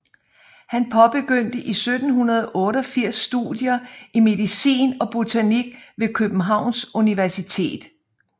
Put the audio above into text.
Han påbegyndte i 1788 studier i medicin og botanik ved Københavns Universitet